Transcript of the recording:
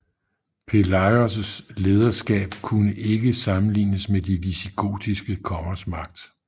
Pelayos lederskab kunne ikke sammenlignes med de visigotiske kongers magt